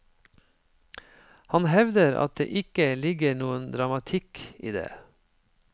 Han hevder at det ikke ligger noen dramatikk i det.